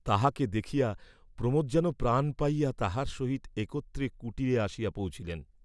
তাহাকে দেখিয়া প্রমোদ যেন প্রাণ পাইয়া তাহার সহিত একত্রে কুটিরে আসিয়া পৌঁছিলেন।